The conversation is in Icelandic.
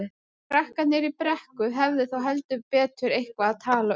Krakkarnir í Brekku hefðu þá heldur betur eitthvað að tala um.